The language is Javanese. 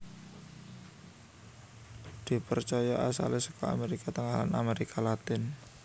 Dipercaya asalé saka Amérika Tengah lan Amérika Latin